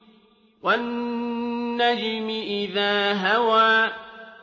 وَالنَّجْمِ إِذَا هَوَىٰ